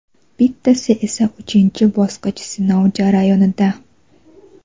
bittasi esa uchinchi bosqich sinov jarayonida.